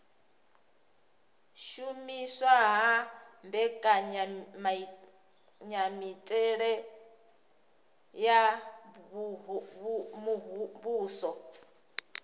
shumiswa ha mbekanyamitele ya muvhuso